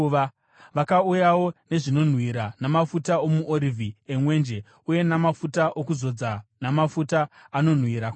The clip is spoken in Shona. Vakauyawo nezvinonhuhwira namafuta omuorivhi emwenje uye namafuta okuzodza namafuta anonhuhwira kwazvo.